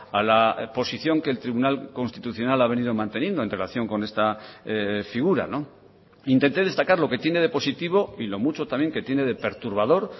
a la posición que el tribunal constitucional ha venido manteniendo en relación con esta figura intenté destacar lo que tiene de positivo y lo mucho también que tiene de perturbador